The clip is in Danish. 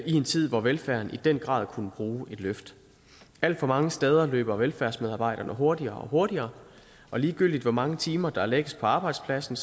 en tid hvor velfærden i den grad kunne bruge et løft alt for mange steder løber velfærdsmedarbejderne hurtigere og hurtigere og ligegyldigt hvor mange timer der lægges på arbejdspladsen